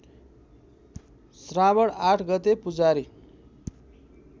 श्रावण ८ गते पुजारी